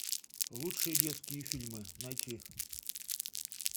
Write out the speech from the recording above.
лучшие детские фильмы найти